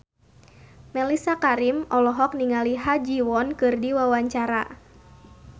Mellisa Karim olohok ningali Ha Ji Won keur diwawancara